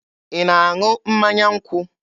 Ị na-aṅụ mmanya nkwụ?